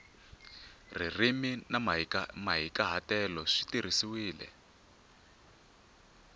ririmi na mahikahatelo swi tirhisiwile